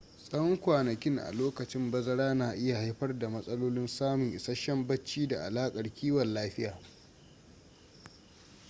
tsawon kwanakin a lokacin bazara na iya haifar da matsalolin samun isasshen bacci da alaƙar kiwon lafiya